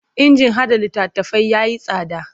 Injin haɗa littattafai ya yi tsada.